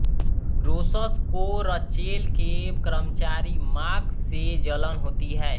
रोस्स को रचेल के कर्मचारी माक से जलन होति है